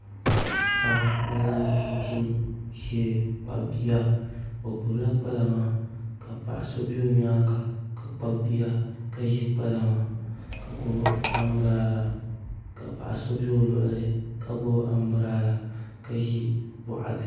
Paɣa n zaŋ chinchin ʒiɛ kpabi bia o gbubila kpalaŋa ka paɣa so bɛ o nyaanga ka kpabi bia ka ʒi kpalaŋa ka gbubi anbirala ka paɣa so bɛ o luɣuli ka gbubi anbirala ka ʒi kpalaŋa